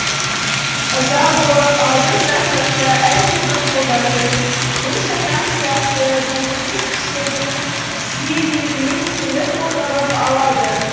ыза болып алдырып тастаса әлдебір қолдардың жын шайтан сияқты белгісіз күштердің сүйемелімен келіп орнығып алады